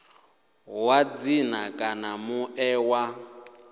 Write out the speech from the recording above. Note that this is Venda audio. wa dzina kana muṋe wa